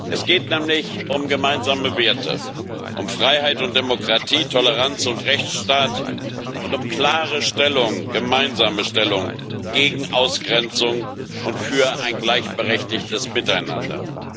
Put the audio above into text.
Es geht nämlich um gemeinsame Werte um Freiheit und Demokratie, Toleranz und Rechtsstaat, und um eine klare gemeinsame Stellung gegen Ausgrenzung und für ein gleichberechtigtes Miteinander.